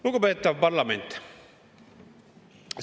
Lugupeetav parlament!